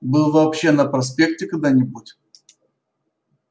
был вообще на проспекте когда-нибудь